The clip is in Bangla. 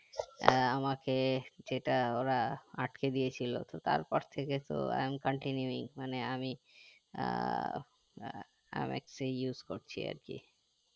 আমাকে যেটা ওরা আটকে দিয়েছিলো তো তারপর থেকে তো I am continue মানে আমি আহ mx ই use করছি আরকি